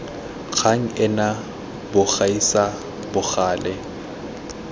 kgang ena bo gaisa bogale